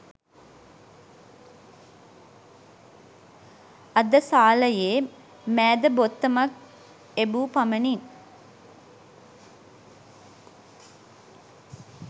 අද සාලයේ මෑද බොත්තමක් එබූ පමණින්